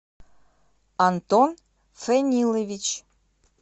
антон ценилович